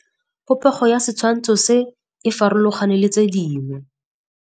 Popêgo ya setshwantshô se, e farologane le tse dingwe.